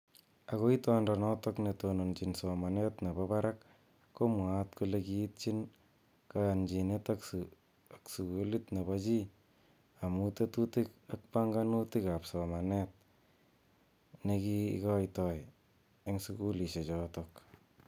Ako itondo notok ne tonondochin somanet nebo barak ko mwaat kole kii itchin kayanchinet ak sululit nebo chii amu tetutik ak panganutik ab somanet neki kootoi eng sukulishek chotok.